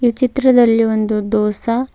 ಈ ಚಿತ್ರದಲ್ಲಿ ಒಂದು ದೋಸಾ --